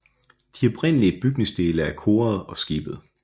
Oprindelige bygningsdele er koret og skibet